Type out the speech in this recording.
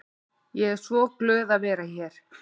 Ég er svo glöð að vera hér.